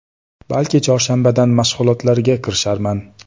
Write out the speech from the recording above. Balki chorshanbadan mashg‘ulotlarga kirisharman.